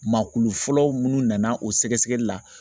Maa kulu fɔlɔ minnu nana o sɛgɛsɛgɛli la